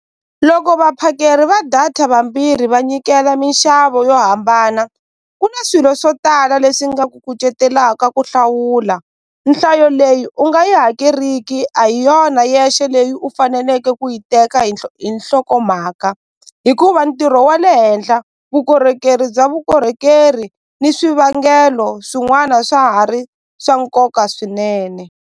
Loko vaphakeri va data vambirhi va nyikela minxavo yo hambana ku na swilo swo tala leswi nga ku kucetelaka ku hlawula nhlayo leyi u nga yi hakeriki a hi yona yexe leyi u faneleke ku yi teka hinhlokomhaka hikuva ntirho wa le henhla vukorhokeri bya vukorhokeri ni swivangelo swin'wana swa ha ri swa nkoka swinene.